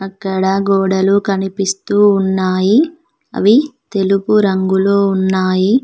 ఇక్కడ గోడలు కనిపిస్తూ ఉన్నాయి అవి తెలుగు రంగులో ఉన్నాయి.